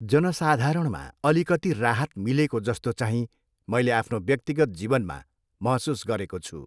जनसाधारणमा अलिकति राहत मिलेको जस्तो चाहिँ मैले आफ्नो व्यक्तिगत जीवनमा महसुस गरेको छु।